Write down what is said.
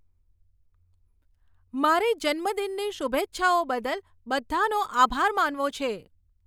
મારે જન્મદિનની શુભેચ્છાઓ બદલ બધાંનો આભાર માનવો છે